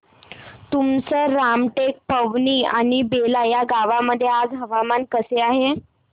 तुमसर रामटेक पवनी आणि बेला या गावांमध्ये आज हवामान कसे आहे